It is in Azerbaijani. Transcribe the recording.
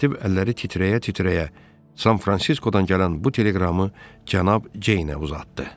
Katib əlləri titrəyə-titrəyə San Fransiskodan gələn bu teleqramı cənab Ceynə uzatdı.